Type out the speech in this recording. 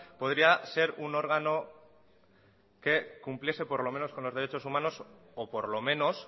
podría ser un órgano que cumpliese por lo menos con los derechos humanos o por lo menos